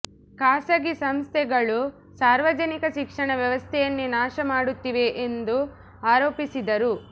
ಖಾಸಗಿ ಸಂಸ್ಥೆಗಳು ಸಾರ್ವಜನಿಕ ಶಿಕ್ಷಣ ವ್ಯವಸ್ಥೆಯನ್ನೇ ನಾಶ ಮಾಡುತ್ತಿವೆ ಎಂದು ಆರೋಪಿಸಿದರು